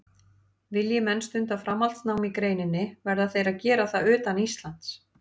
Vilji menn stunda framhaldsnám í greininni verða þeir að gera það utan Íslands.